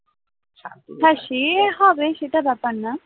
হ্যাঁ সে হবে, সেটা ব্যাপার না